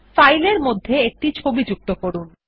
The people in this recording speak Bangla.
ফাইলের মধ্যে একটি ছবি যুক্ত করুন